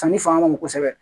Sanni fanga ka bon kosɛbɛ